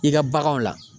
I ka baganw la